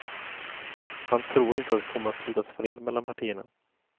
Han tror inte det kommer att slutas fred mellan partierna.